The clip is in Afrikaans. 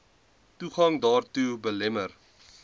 toegang daartoe belemmer